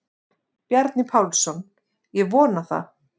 Bjarni Pálsson: Ég vona það.